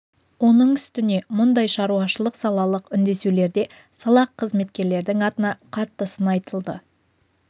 оның үстіне мұндай шаруашылық салалық үндесулерде салақ қызметкерлердің атына қатты сын айтылды